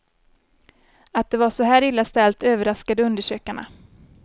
Att det var så här illa ställt överraskade undersökarna.